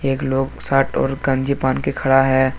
एक लोग शर्ट और गंजी पहन के खड़ा है।